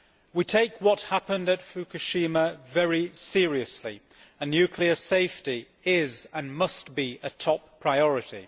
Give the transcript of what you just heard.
We take what happened at Fukushima very seriously and nuclear safety is, and must be, a top priority.